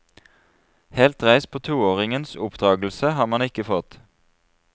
Helt dreis på toåringens oppdragelse har man ikke fått.